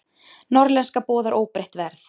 Norðlenska boðar óbreytt verð